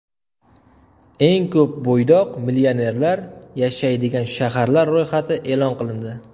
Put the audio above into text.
Eng ko‘p bo‘ydoq millionerlar yashaydigan shaharlar ro‘yxati e’lon qilindi.